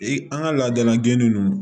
I an ka laadala gɛnni ninnu